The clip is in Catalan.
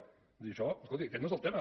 vull dir això escolti aquest no és el tema